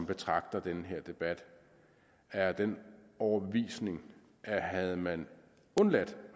betragter den her debat er af den overbevisning at havde man undladt